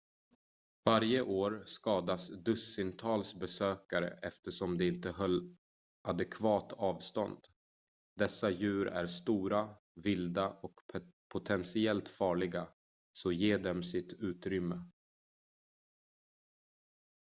varje år skadas dussintals besökare eftersom de inte höll adekvat avstånd dessa djur är stora vilda och potentiellt farliga så ge dem sitt utrymme